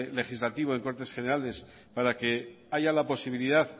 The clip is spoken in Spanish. legislativo en cortes generales para que haya la posibilidad